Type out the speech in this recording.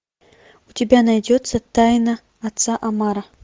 у тебя найдется тайна отца омара